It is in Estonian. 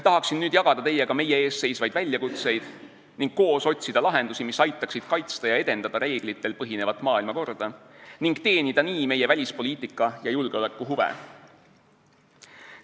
Tahaksin nüüd jagada teiega meie ees seisvaid väljakutseid ning koos otsida lahendusi, mis aitaksid kaitsta ja edendada reeglitel põhinevat maailmakorda ning teenida nii meie välispoliitika- ja julgeolekuhuve.